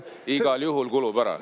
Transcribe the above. Igal juhul kulub ära.